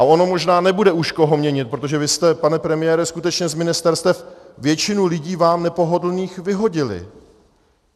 A ono možná nebude už koho měnit, protože vy jste, pane premiére, skutečně z ministerstev většinu lidí vám nepohodlných vyhodili.